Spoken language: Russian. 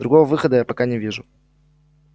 другого выхода я пока не вижу